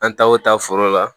An taa o taa foro la